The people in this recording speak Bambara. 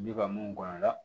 Bi ka mun bɔn a la